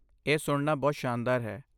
ਇਹ ਸੁਣਨਾ ਬਹੁਤ ਸ਼ਾਨਦਾਰ ਹੈ।